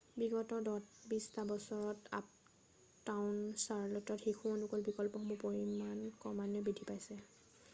বিগত 20 টা বছৰত আপটাউন চাৰ্ল'টত শিশু অনুকূল বিকল্পসমূহৰ পৰিমান ক্ৰমান্বয়ে বৃদ্ধি পাইছে